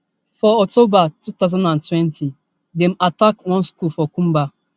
for october two thousand and twenty dem attack one school for kumba